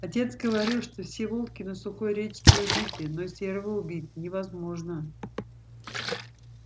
отец говорил что все волки на сухой речке убиты но серого убить невозможно